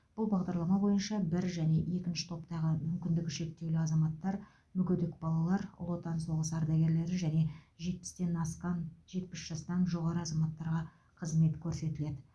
бұл бағдарлама бойынша бір және екінші топтағы мүмкіндігі шектеулі азаматтар мүгедек балалар ұлы отан соғысы ардагерлері және жетпістен асқан жетпіс жастан жоғары азаматтарға қызмет көрсетіледі